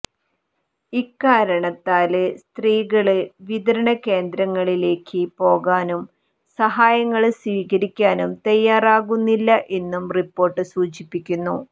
ഇക്കാരണത്താല് സ്ത്രീകള് വിതരണ കേന്ദ്രങ്ങളിലേക്ക് പോകാനും സഹായങ്ങള് സ്വീകരിക്കാനും തയ്യാറാകുന്നില്ലഎന്നും റിപ്പോര്ട്ട് സൂചിപ്പിക്കുന്നു